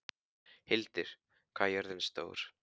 Hildir, hvað er jörðin stór?